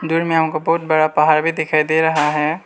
अंदर में हमको बहुत बड़ा पहाड़ भी दिखाई दे रहा है।